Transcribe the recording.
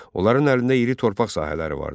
Onların əlində iri torpaq sahələri vardı.